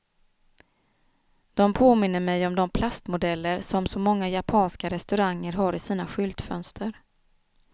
De påminner mig om de plastmodeller som så många japanska restauranger har i sina skyltfönster.